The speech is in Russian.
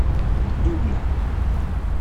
дубна